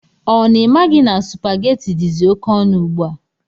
Ọ na imaghi na supaghetti dizi oké ọnụ ugbua?